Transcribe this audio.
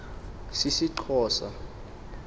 sisixhosa